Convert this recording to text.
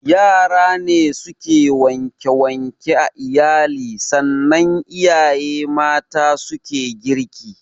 Yara ne suke wanke wanke a iyali sannan iyaye mata su suke girki